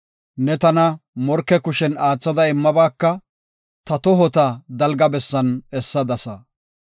Ne tana morke kushen aathada immabaaka; ta tohota dalga bessan essadasa.